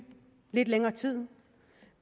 lidt længere tid